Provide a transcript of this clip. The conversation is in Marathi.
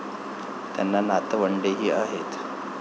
त्यांना नातवंडेही आहेत.